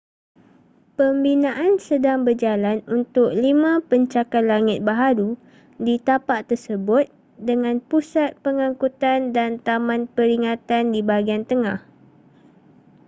pembinaan sedang berjalan untuk lima pencakar langit baharu di tapak tersebut dengan pusat pengangkutan dan taman peringatan di bahagian tengah